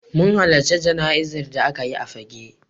Mun halarci jana'izar da aka yi a Fagge.